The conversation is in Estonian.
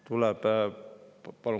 Palun kolm minutit.